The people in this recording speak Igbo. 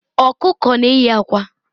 Ọkụkọ na-eyi akwa.